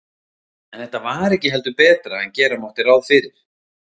En var þetta ekki heldur betra en gera mátti ráð fyrir?